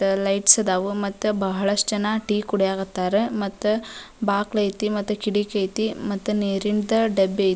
Lights ಇದಾವ್ ಮತ್ತ ಬಹಳಷ್ಟು ಜನ ಟೀ ಕುಡಿಯಕತ್ತಾರ ಮತ್ತ ಬಾಗ್ಲ್ ಐತಿ ಕಿಟ್ಕಿ ಐತಿ ಮತ್ತ್ ನೀರಿನ್ ಡಬ್ಬಿ ಐತಿ.